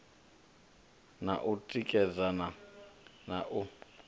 na u tikedzana na u